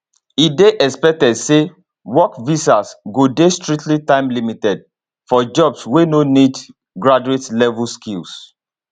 e dey expected say work visas go dey strictly timelimited for jobs wey no need graduatelevel skills